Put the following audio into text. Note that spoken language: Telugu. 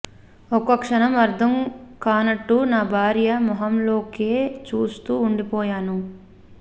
ఒక్క క్షణం అర్థం కానట్టు నా భార్య మొహంలోకే చూస్తూ ఉండిపోయాను